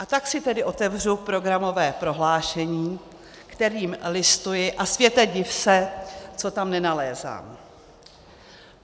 A tak si tedy otevřu programové prohlášení, kterým listuji, a světe, div se!, co tam nenalézám.